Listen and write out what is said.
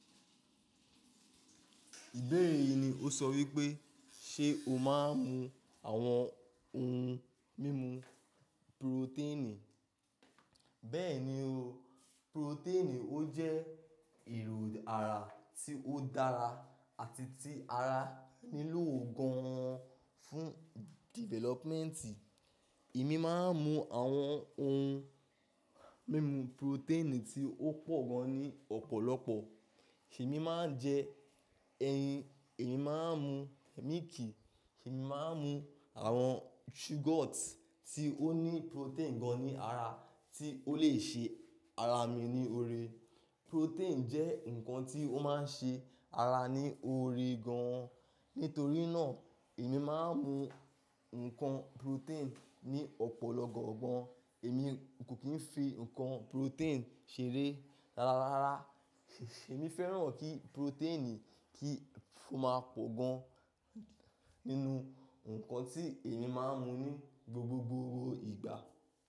Ìbéèrè yìí ni ó sọ wípé ṣe o máa ń mu àwọn ohun mímu purotẹ́ẹ̀nì? Bẹ́ẹ̀ni o. Purotẹ́ẹ̀nì ó jẹ́ èrò ara tí ó dára àti tí ara nílò gan an fún developmenti. Èmi máa ń mu àwọn ohun mímu purotẹ́ẹ̀nì tí ó pọ̀ gan ní ọ̀pọ̀lọpọ̀. Emi máa ń jẹ ẹyin, èmi máa ń mu mílìkì, èmi máa ń mu àwọn yogurt tí ó ní purotẹ́ẹ̀nì gan ní ara tí ó lè ṣe ara mi ní oore. Purotẹ́ẹ̀nì jẹ́ nǹkan tí ó máa ń ṣe ara ní oore gan an. Nítorí náà, èmi máa ń mu ǹkan purotẹ́ẹ̀nì ní ọ̀pọ̀lọpọ̀ gàn. Èmi kò kí ń fi ǹkan purotẹ́ẹ̀nì ṣeré rárárára. Emi fẹ́ràn kí purotẹ́ẹ̀nì kí ó máa pọ̀ gan nínú ǹkan tí èmi máa ń mu ní gbogbogbò ìgbà.